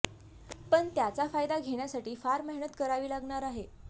पण त्याचा फायदा घेण्यासाठी फार मेहनत करावी लागणार आहे